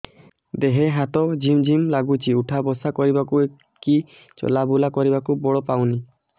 ଦେହେ ହାତ ଝିମ୍ ଝିମ୍ ଲାଗୁଚି ଉଠା ବସା କରିବାକୁ କି ଚଲା ବୁଲା କରିବାକୁ ବଳ ପାଉନି